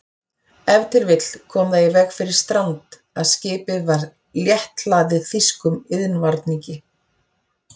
Ef til vill kom það í veg fyrir strand, að skipið var létthlaðið þýskum iðnvarningi.